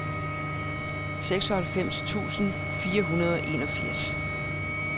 seksoghalvfems tusind fire hundrede og enogfirs